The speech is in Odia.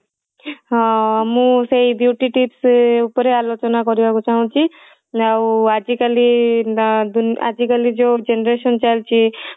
ହଁ ମୁଁ ସେଇ beauty tips ଉପରେ ଆଲୋଚନା କରିବା କୁ ଚାହୁଁଚି ଆଉ ଆଜିକଲି ଦା ଯୋଉ ଦୁ ଆଜିକାଲି ଯଉ generation ଚାଲିଚି